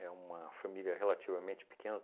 É uma família relativamente pequena.